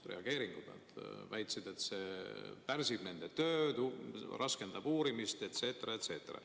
Nad väitsid, et see pärsib nende tööd, raskendab uurimist jne, jne.